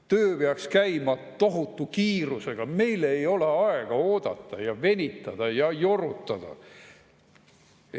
Töö peaks käima tohutu kiirusega, meil ei ole aega oodata, venitada ja jorutada.